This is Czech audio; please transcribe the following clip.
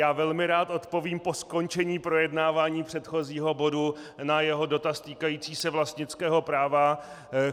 Já velmi rád odpovím po skončení projednávání předchozího bodu na jeho dotaz týkající se vlastnického práva.